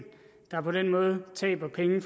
der på den måde taber penge